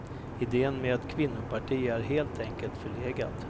Idén med ett kvinnoparti är helt enkelt förlegad.